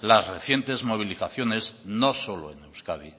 las recientes movilizaciones no solo en euskadi